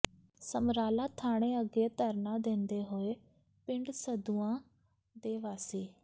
ਸਮਰਾਲਾ ਥਾਣੇ ਅੱਗੇ ਧਰਨਾ ਦਿੰਦੇ ਹੋਏ ਪਿੰਡ ਸੰਧੂਆਂ ਦੇ ਵਾਸੀ